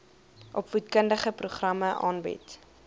opvoedkundige programme aanbied